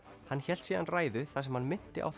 hann hélt síðan ræðu þar sem hann minnti á